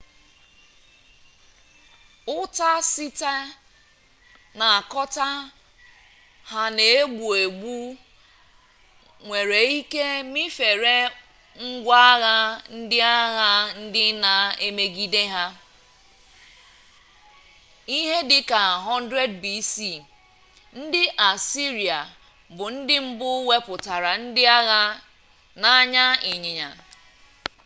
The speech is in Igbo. uta site na akota ha n'egbu-egbu nwere-ike mifere ngwa-agha ndi agha ndi na emigede ha ihe dika 1000 b.c. ndi assyria bu ndi mbu weputara ndi agha n'anya inyanya